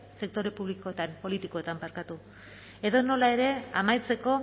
sektore politikoetan edonola ere amaitzeko